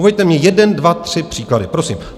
Uveďte mi jeden dva tři příklady, prosím.